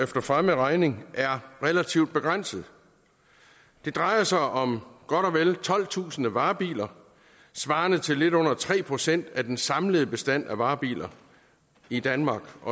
for fremmed regning er relativt begrænset det drejer sig om godt og vel tolvtusind varebiler svarende til lidt under tre procent af den samlede bestand af varebiler i danmark